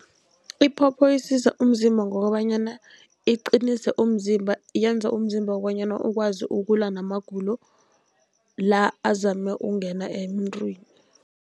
Iphopho isiza umzimba ngokobanyana iqinise umzimba, yenza umzimba bonyana ukwazi ukulwa namagulo la azama ukungena emntwini.